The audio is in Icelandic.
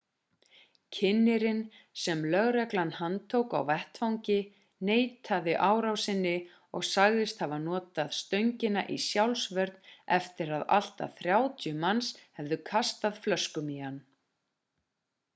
kynnirinn sem lögreglan handtók á vettvangi neitaði árásinni og sagðist hafa notað stöngina í sjálfsvörn eftir að allt að 30 manns hefðu kastað flöskum í hann